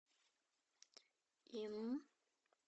инн